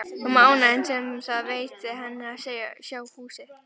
Um ánægjuna sem það veitti henni að sjá húsið.